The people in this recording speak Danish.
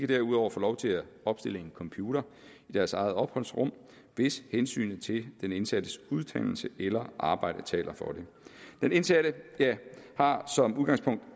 derudover få lov til at opstille en computer i deres eget opholdsrum hvis hensynet til den indsattes uddannelse eller arbejde taler for det den indsatte har som udgangspunkt